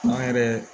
Kuma yɛrɛ